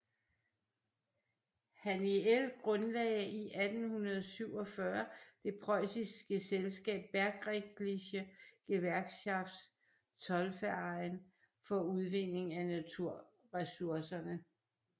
Haniel grundlagde i 1847 det preussiske selskab Bergrechtliche Gewerkschaft Zollverein for udvinding af naturresourcerne